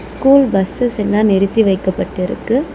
School buses எல்லா நிறுத்தி வைக்கப்பட்டிருக்கு.